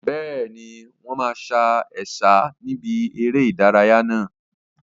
Bẹ́ẹ̀ni, wọn máa sa Ẹ̀sà níbi eré ìdárayá náà.